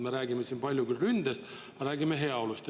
Me räägime siin palju ründest, aga räägime ka heaolust.